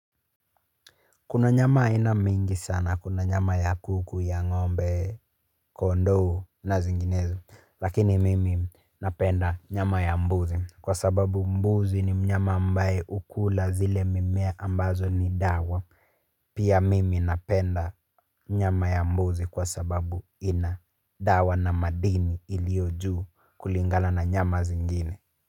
Kuna nyama aina mingi sana, kuna nyama ya kuku, ya ngombe, kondoo na zinginezo, lakini mimi napenda nyama ya mbuzi kwa sababu mbuzi ni mnyama ambaye hukula zile mimea ambazo ni dawa, pia mimi napenda nyama ya mbuzi kwa sababu ina dawa na madini iliyo juu kulingana na nyama zingine.